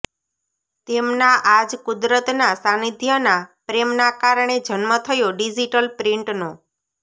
તેમના આ જ કુદરતના સાંનિધ્યના પ્રેમના કારણે જન્મ થયો ડિજિટલ પ્રિન્ટનો